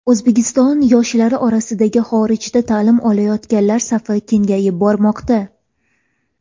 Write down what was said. O‘zbekiston yoshlari orasida xorijda ta’lim olayotganlar safi kengayib bormoqda.